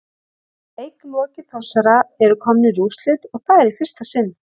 Leik lokið Þórsarar eru komnir í úrslit og það í fyrsta sinn!